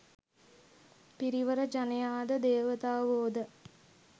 පිරිවර ජනයා ද දේවතාවෝ ද